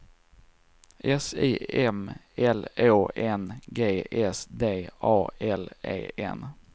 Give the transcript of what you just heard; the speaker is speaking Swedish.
S I M L Å N G S D A L E N